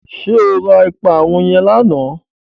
Ṣé o ra ìparun yẹn lánàá?